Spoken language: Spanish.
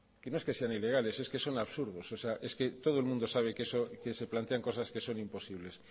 que no es que sean ilegales es que son absurdos o sea es que todo el mundo sabe que se plantean cosas que son imposibles